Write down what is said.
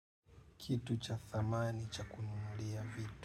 Kitu cha thamani cha kununulia vitu.